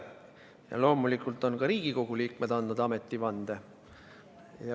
Ja loomulikult on ka Riigikogu liikmed andnud ametivande.